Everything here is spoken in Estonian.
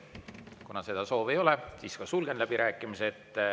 Kuna seda soovi ei ole, siis sulgen läbirääkimised.